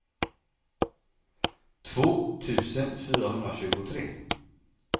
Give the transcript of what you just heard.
två tusen fyrahundratjugotre